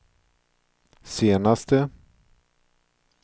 senaste